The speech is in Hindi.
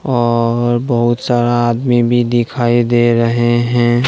और बहोत सारा आदमी भी दिखाई दे रहे हैं।